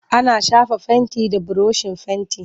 Ana shafa fenti da burushin fenti.